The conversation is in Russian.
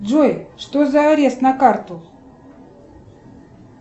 джой что за арест на карту